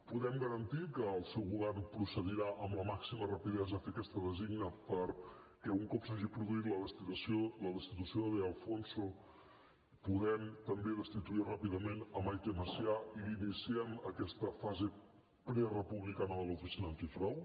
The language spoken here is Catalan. podem garantir que el seu govern procedirà amb la màxima rapidesa a fer aquesta designació perquè un cop s’hagi produït la destitució de de alfonso puguem també destituir ràpidament maite masià i iniciem aquesta fase prerepublicana de l’oficina antifrau